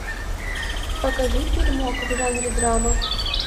покажи фильмок в жанре драма